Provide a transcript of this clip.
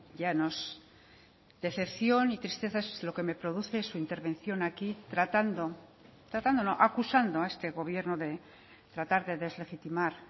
llanos decepción y tristeza es lo que me produce su intervención aquí tratando tratando no acusando a este gobierno de tratar de deslegitimar